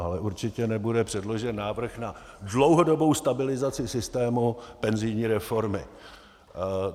Ale určitě nebude předložen návrh na dlouhodobou stabilizaci systému penzijní reformy.